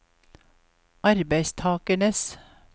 arbeidstakernes